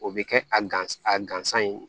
O bɛ kɛ a gansan a gansan ye